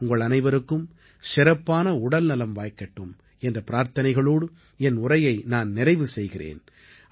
உங்கள் அனைவருக்கும் சிறப்பான உடல்நலம் வாய்க்கட்டும் என்ற பிரார்த்தனைகளோடு என் உரையை நான் நிறைவு செய்கிறேன்